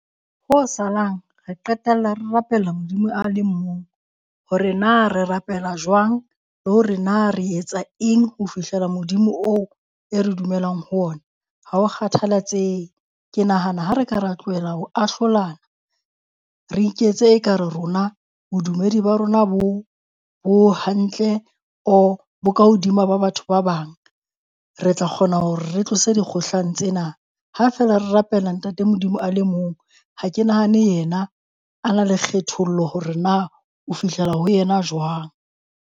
Ho salang re qetella re rapela Modimo a leng mong. Hore na re rapela jwang le hore na re etsa eng ho fihlela Modimo oo e re dumelang ho ona, ha ho kgathalatsehe. Ke nahana ha re ka ra tlohela ho ahlolana re iketse ekare rona bodumedi ba rona bo bo hantle, or bo ka hodima ba batho ba bang, re tla kgona hore re tlose dikgohlano tsena. Ha feela re rapela ntate Modimo a le mong, ha ke nahane yena a na le kgethollo hore na o fihlela ho yena jwang.